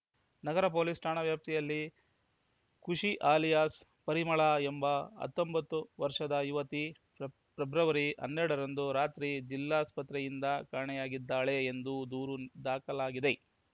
ನಗರ police ಠಾಣಾ ವ್ಯಾಪ್ತಿಯಲ್ಲಿ Khushi alias Parimala ಎಂಬ ಹತ್ತೊಂಬತ್ತು ವರ್ಷದ ಯುವತಿ ಫೆಬ್ರವರಿ ಹನ್ನೆರಡರಂದು ರಾತ್ರಿ ಜಿಲ್ಲಾಸ್ಪತ್ರೆಯಿಂದ ಕಾಣೆಯಾಗಿದ್ದಾಳೆ ಎಂದು ದೂರು ದಾಖಲಾಗಿದೆ